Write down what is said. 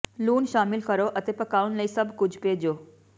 ਲੂਣ ਸ਼ਾਮਿਲ ਕਰੋ ਅਤੇ ਪਕਾਉਣ ਲਈ ਸਭ ਕੁਝ ਭੇਜੋ